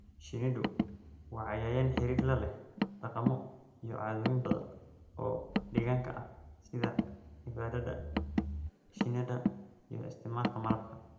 Shinnidu waa cayayaan xiriir la leh dhaqamo iyo caadooyin badan oo deegaanka ah sida cibaadada shinnida iyo isticmaalka malabka.